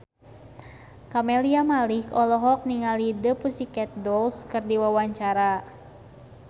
Camelia Malik olohok ningali The Pussycat Dolls keur diwawancara